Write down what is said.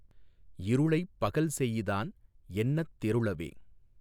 இருளைப் பகல் செஇதான் என்னத் தெருளவே.